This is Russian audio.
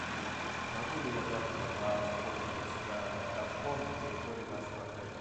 могу ли я завтра воспользоваться катком на территории вашего отеля